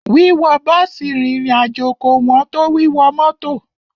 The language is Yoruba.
Wíwọ bọ́ọ̀sì rìnrìn àjò kò ẹn tó wíwọ mọ́tọ̀.